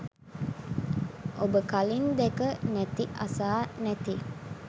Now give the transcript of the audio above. ඔබ කලින් දැක නැති අසා නැති